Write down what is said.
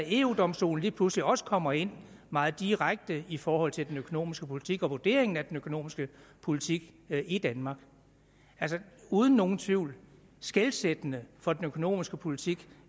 eu domstolen lige pludselig også kommer ind meget direkte i forhold til den økonomiske politik og vurderingen af den økonomiske politik i danmark uden nogen tvivl skelsættende for den økonomiske politik